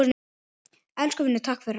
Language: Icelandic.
Elsku vinur, takk fyrir allt.